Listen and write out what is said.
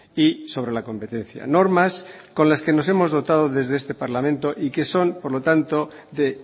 y sobre la competencia normas con las que nos hemos dotado desde este parlamento y que son por lo tanto de